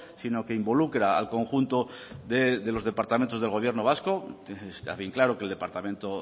sino que involucra al conjunto de los departamentos del gobierno vasco está bien claro que el departamento